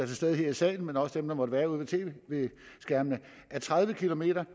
til stede her i salen men også dem der måtte være ude ved tv skærmene at tredive kilometer